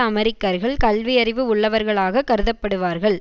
அமெரிக்கர்கள் கல்வியறிவு உள்ளவர்களாக கருதப்படுவார்கள்